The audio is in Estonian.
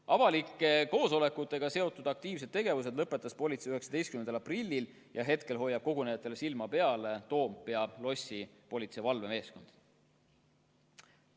Avalike koosolekutega seotud aktiivse tegevuse lõpetas politsei 19. aprillil ja praegu hoiab kogunejatel silma peal Toompea lossi politseivalvemeeskond.